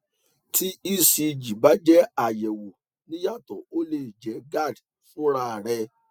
tí ecg bá jẹ àyẹwọ níyàtọ o lè jẹ gerd fúnra rẹ